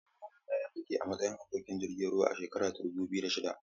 Yayana ya yi aiki a matsayin abokin aikin jirgin ruwa a shekara ta dubu biyu da shida.